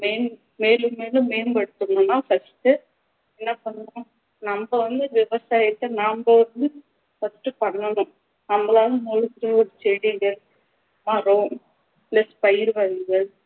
மேலு~ மேலும் மேலும் மேம்படுத்தணும்னா first உ என்ன பண்ணணும் நம்ம வந்து விவசாயத்த நம்ம வந்து first பண்ணணும் நம்மலாள நிலத்துல செடிகள், மரம் plus பயிர்கள்